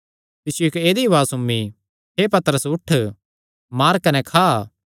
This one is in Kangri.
तिसियो इक्क ऐदई उआज़ सुम्मी हे पतरस उठ मार कने खा